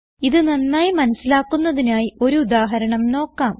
ഇത് നന്നായി മനസിലാക്കുന്നതിനായി ഒരു ഉദാഹരണം നോക്കാം